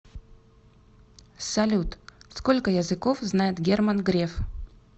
салют сколько языков знает герман греф